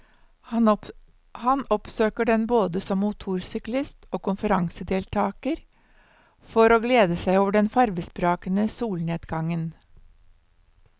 Han oppsøker den både som motorsyklist og konferansedeltager for å glede seg over den farvesprakende solnedgangen.